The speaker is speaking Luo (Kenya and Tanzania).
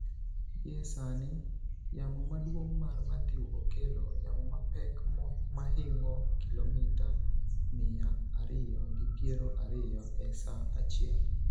Gie sani, yamo maduong' mar Matthew okelo yamo mapek mahingo kilomita miya ariyo gi piero ariyo e sa achiel.